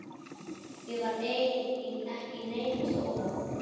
Ég var ekki í neinum skóla.